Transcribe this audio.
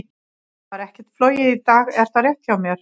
Það var ekkert flogið í dag, er það rétt hjá mér?